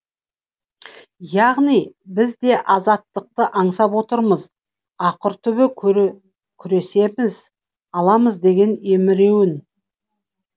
яғни біз де азаттықты аңсап отырмыз ақыр түбі күресеміз аламыз деген емеурін